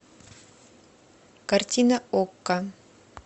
картина окко